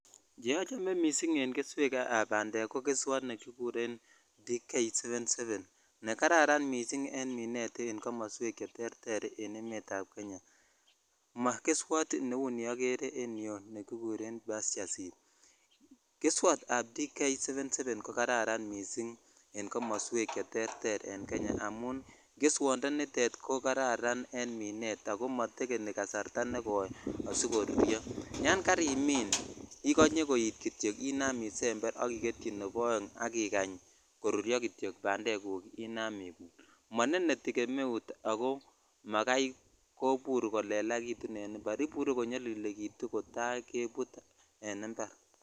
Che ichome missing nebo bandek ko nekikuren D777 nekararan missing en minet en komoswek cheterter en emet ab Kenya mogeswot neu nioger en yuu nikikuren pusture seed keswot ab D777 ko kararan misingen kmoswek cheterter aen Kenya amun keswondonitonko kararan en minet ako motekeni kasarta asikoruryo yon karimin ikonye kityok ya koit inam isemer ak igetchi nebo oeng ak ikany koruryo kityok bandeguk inam ibut moneneti gemeut akoak makai komur kolelakitun en impar ibur konyolilekitu kotaa kebut en impar.